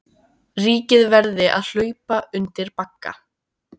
Ríkið verði að hlaupa undir bagga